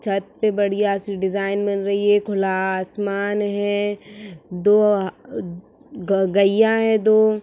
छत पे बढ़िया सी डिजाइन बन रही है। खुला आसमान है। दो गईया हैं दो।